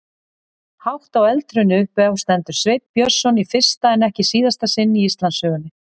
Hátt á eldhrauni uppi stendur Sveinn Björnsson í fyrsta en ekki síðasta sinn í Íslandssögunni.